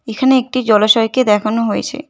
এখানে একটি জলাশয়কে দেখানো হয়েছে।